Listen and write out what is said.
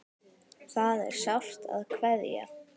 Það er sárt að kveðja.